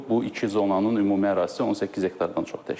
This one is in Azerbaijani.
Bu iki zonanın ümumi ərazisi 18 hektardan çox təşkil edir.